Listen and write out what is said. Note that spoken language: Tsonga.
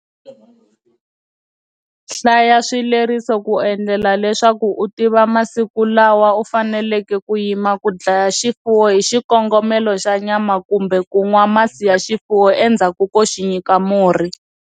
Hlaya swivleriso ku endlela leswaku u tiva masiku lawa u faneleke ku yima ku dlaya xifuwo hi xikongomelo xa nyama kumbe ku nwa masi ya xifuwo endzhaku ko xi nyika murhi.